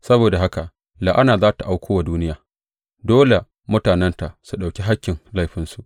Saboda haka la’ana za tă auko wa duniya; dole mutanenta su ɗauki hakkin laifinsu.